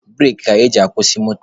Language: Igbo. Bureki ka eji akwụsị moto.